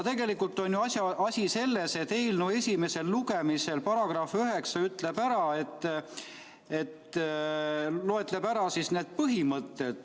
Tegelikult on ju asi selles, et eelnõu põhimõtted esimesel lugemisel loetleb üles § 98.